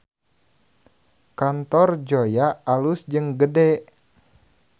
Kantor Zoya alus jeung gede